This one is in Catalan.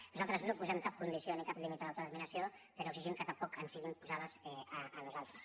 nosaltres no posem cap condició ni cap límit a l’autodeterminació però exigim que tampoc ens en siguin posats a nosaltres